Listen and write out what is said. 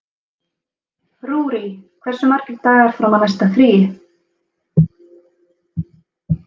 Rúrí, hversu margir dagar fram að næsta fríi?